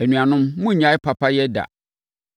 Anuanom monnnyae papayɛ da.